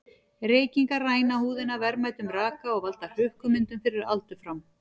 Reykingar ræna húðina verðmætum raka og valda hrukkumyndun fyrir aldur fram.